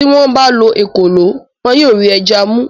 tí wọ́n bá lo “ ekòló ” wọn yóò rí ẹja mú.